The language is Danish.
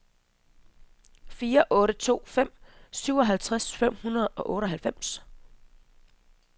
fire otte to fem syvoghalvtreds fem hundrede og otteoghalvfems